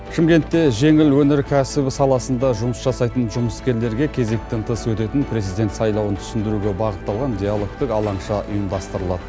шымкентте жеңіл өнеркәсіп саласында жұмыс жасайтын жұмыскерлерге кезектен тыс өтетін президент сайлауын түсіндіруге бағытталған диалогтық алаңша ұйымдастырылады